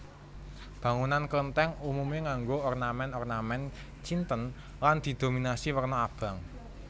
Bangunan Klenthèng umume nganggo ornamen ornamen Cinten lan didominasi werna abang